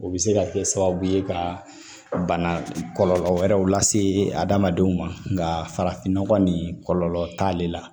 O bɛ se ka kɛ sababu ye ka bana kɔlɔlɔ wɛrɛw lase adamadenw ma nka farafin nɔgɔ nin kɔlɔlɔ t'ale la